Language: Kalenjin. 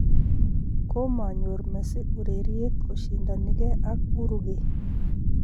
Kumanyor Messi ureriet koshindanigei ak Uruguay